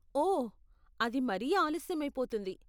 ఓ, అది మరీ ఆలస్యమైపోతుంది.